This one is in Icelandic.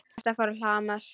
Hjartað fór að hamast.